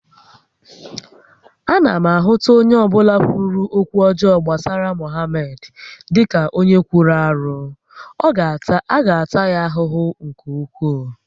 A na ahụta onye ọbụla kwuru okwu ọjọọ gbasara Mohamed dịka onye kwuru arụ, a ga-ata ya ahụhụ nke ukwuu